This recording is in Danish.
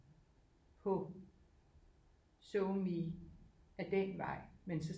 På SoMe af den vej men så